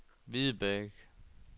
Hvidebæk